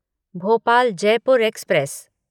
Bhopal Jaipur express